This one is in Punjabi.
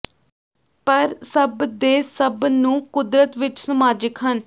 ਪਰ ਸਭ ਦੇ ਸਭ ਨੂੰ ਕੁਦਰਤ ਵਿੱਚ ਸਮਾਜਿਕ ਹਨ